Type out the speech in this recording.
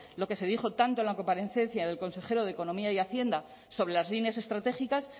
lo que se dijo tanto en la comparecencia del consejero de economía y hacienda sobre las líneas estratégicas